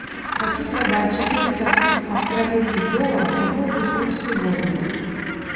хочу продать четыреста австралийских долларов какой будет курс сегодня